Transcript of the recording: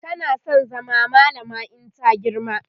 tana San zama mallama in ta girma